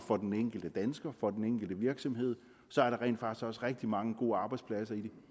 for den enkelte dansker og for den enkle virksomhed så er der rent faktisk også rigtig mange gode arbejdspladser i